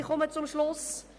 Ich komme zum Schluss.